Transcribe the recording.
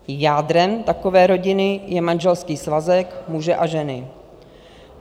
Jádrem takové rodiny je manželský svazek muže a ženy."